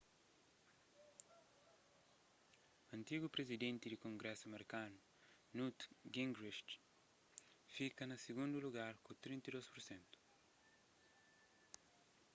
antigu prizidenti di kongrésu merkanu newt gingrich fika na sigundu lugar ku 32 pur sentu